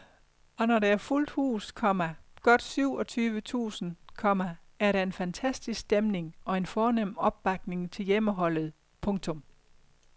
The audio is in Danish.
Og når der er fuldt hus, komma godt syv og tyve tusind, komma er der en fantastisk stemning og en fornem opbakning til hjemmeholdet. punktum